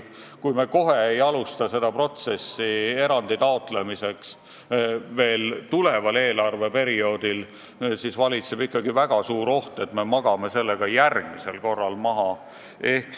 Kui me kohe ei hakka taotlema erandit tulevasel eelarveperioodil, siis valitseb väga suur oht, et me magame selle ka järgmisel korral maha.